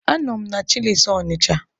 Anọ m na chịlịs Ọnịcha.